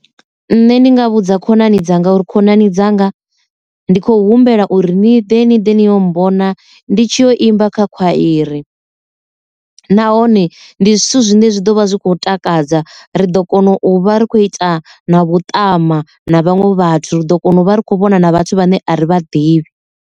Nṋe ndi nga vhudza khonani dzanga uri khonani dzanga ndi kho humbela uri ni ḓe ni ḓe ni yo mbona ndi tshi kho imba kha khwairi. Nahone ndi zwithu zwine zwi ḓo vha zwi khou takadza ri ḓo kona u vha ri khou ita na vhuṱama na vhaṅwe vhathu ri ḓo kona u vha ri kho vhona na vhathu vhane a vha ḓivhi.